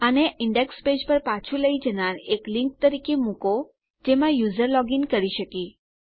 આને index page પર પાછું લઇ જનાર એક લીંક તરીકે મુકો જેમાં યુઝર લોગીન કરી શકે